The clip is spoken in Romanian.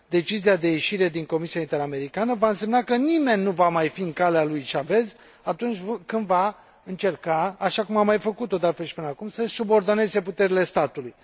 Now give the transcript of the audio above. Decizia de ieșire din Comisia interamericană va însemna că nimeni nu va mai fi în calea lui Chavez atunci când va încerca, așa cum a mai făcut o de altfel și până acum, să și subordoneze puterile statului.